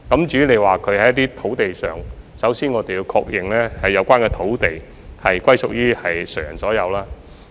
至於在一些土地上的棄置車輛，首先，我們要確認有關土地屬於誰人所有。